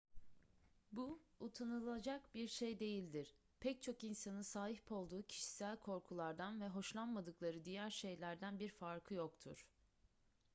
bu utanılacak bir şey değildir pek çok insanın sahip olduğu kişisel korkulardan ve hoşlanmadıkları diğer şeylerden bir farkı yoktur